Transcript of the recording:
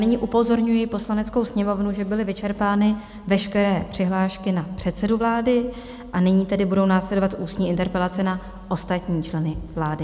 Nyní upozorňuji Poslaneckou sněmovnu, že byly vyčerpány veškeré přihlášky na předsedu vlády, a nyní tedy budou následovat ústní interpelace na ostatní členy vlády.